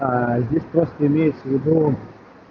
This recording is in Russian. аа здесь просто имею в виду